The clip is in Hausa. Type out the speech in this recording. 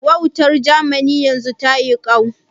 Wautar Jamani yanzun ta yi ƙau?